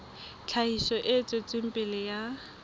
tlhahiso e tswetseng pele ya